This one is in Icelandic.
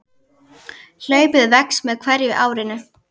Hlaupið vex með hverju árinu.